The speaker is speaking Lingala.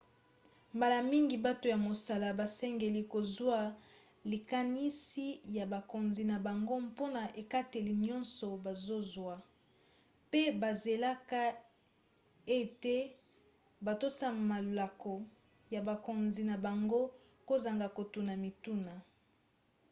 mbala mingi bato ya mosala basengeli kozwa likanisi ya bakonzi na bango mpona ekateli nyonso bazozwa pe bazelaka ete batosa malako ya bakonzi na bango kozanga kotuna mituna